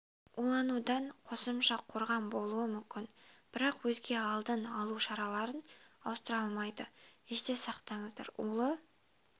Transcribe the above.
уланудан қосымша қорған болуы мүмкін бірақ өзге алдын алу шараларын ауыстыра алмайды есте сақтаңыздар улы